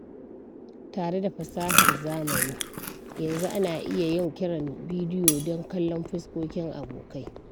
Tare da fasahar zamani, yanzu ana iya yin kiran bidiyo don kallon fuskokin abokai.